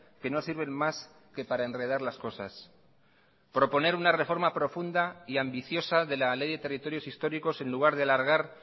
que no sirven más que para enredar las cosas proponer una reforma profunda y ambiciosa de la ley de territorios históricos en lugar de alargar